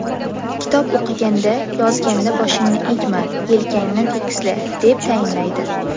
Kitob o‘qiganda, yozganda boshingni egma, yelkangni tekisla”, deb tayinlaydi.